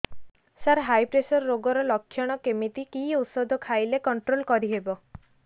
ସାର high pressure ରୋଗର ଲଖଣ କେମିତି କି ଓଷଧ ଖାଇଲେ କଂଟ୍ରୋଲ କରିହେବ